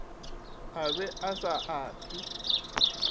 a be a sa abje